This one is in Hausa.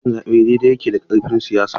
Cin zaɓe daidai yake da karfin siyasa.